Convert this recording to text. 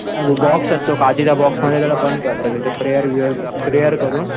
box असतो काठीचा box मध्ये त्याला बंद करतात त्याचे प्रेयर प्रेयर करून